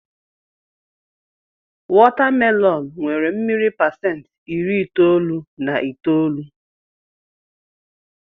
Wọta melọn nnwere mmiri pasentị iri itoolu na itoolu.